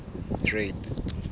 trade